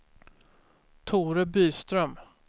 Tore Byström